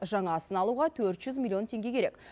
жаңасын алуға төрт жүз миллион теңге керек